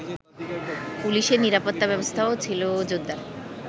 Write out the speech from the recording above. পুলিশের নিরাপত্তা ব্যবস্থাও ছিলো জোরদার